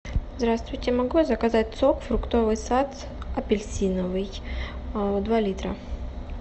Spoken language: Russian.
здравствуйте могу я заказать сок фруктовый сад апельсиновый два литра